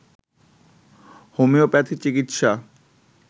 homeopathy চিকিৎসা